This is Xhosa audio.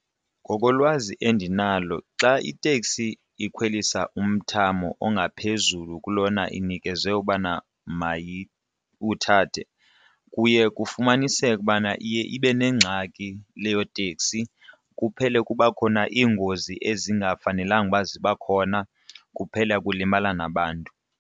Ngokolwazi endinalo xa iteksi ikhwelisa umthamo ongaphezulu kulona inikezwe ubana mayiwuthathe kuye kufumaniseke ukubana iye ibe nengxaki leyo teksi kuphele kuba khona iingozi ezingafanelanga uba ziba khona kuphele kulimala nabantu.